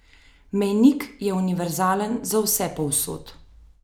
Mejnik je univerzalen za vse povsod.